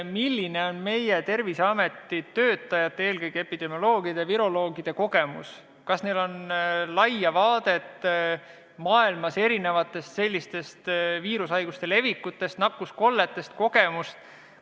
Milline on meie Terviseameti töötajate, eelkõige epidemioloogide ja viroloogide kogemus ning kas neil on lai ülevaade maailmas esinevate viirushaiguste levikust ja nakkuskolletest?